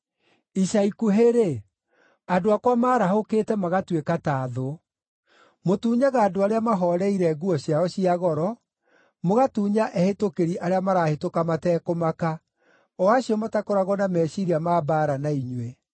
Ica‑ikuhĩ‑rĩ, andũ akwa maarahũkĩte magatuĩka ta thũ. Mũtunyaga andũ arĩa mahooreire nguo ciao cia goro, mũgatunya ehĩtũkĩri arĩa marahĩtũka matekũmaka, o acio matakoragwo na meciiria ma mbaara na inyuĩ.